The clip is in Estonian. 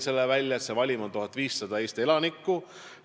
Valimis on 1500 Eesti elanikku.